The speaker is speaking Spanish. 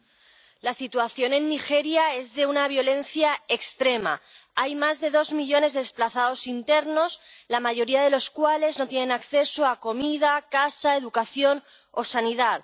Señora presidenta, la situación en Nigeria es de una violencia extrema. Hay más de dos millones de desplazados internos, la mayoría de los cuales no tienen acceso a comida, casa, educación o sanidad.